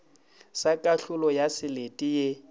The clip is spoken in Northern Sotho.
sa kahlolo ya selete ye